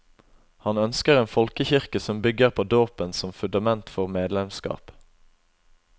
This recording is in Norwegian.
Han ønsker en folkekirke som bygger på dåpen som fundament for medlemskap.